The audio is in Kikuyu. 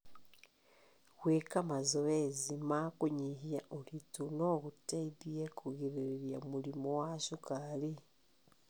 Gwĩka mazoezi ma kũnyihia ũritũ no gũteithie kũgirĩrĩria mũrimũ wa cukari.